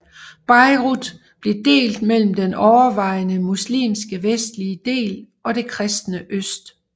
Beirut blev delt mellem den overvejende muslimske vestlige del og det kristne øst